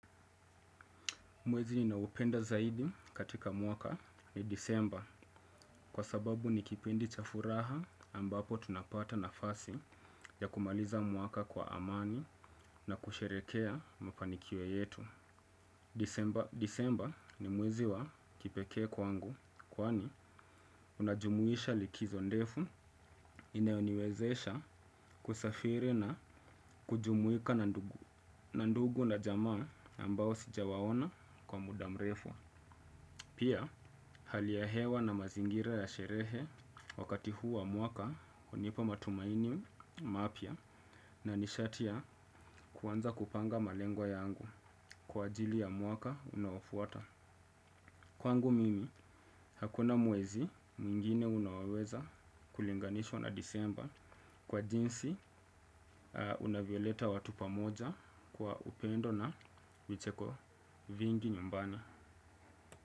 Mwezi ninaoupenda zaidi katika mwaka ni disemba kwa sababu ni kipindi cha furaha ambapo tunapata nafasi ya kumaliza mwaka kwa amani na kusherekea mafanikio yetu. Disemba ni mwezi wa kipekee kwangu kwani unajumuisha likizo ndefu inaoniwezesha kusafiri na kujumuika na ndugu na jamaa ambao sija waona kwa muda mrefu. Pia hali ya hewa na mazingira ya sherehe wakati huu wa mwaka hunipo matumaini mapya na nishatia ya kuanza kupanga malengo yangu kwa ajili ya mwaka unaofuata. Kwangu mimi hakuna mwezi mwingine unaoweza kulinganishwa na disemba kwa jinsi unavyoleta watu pamoja kwa upendo na vicheko vingi nyumbani.